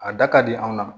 A da ka di anw na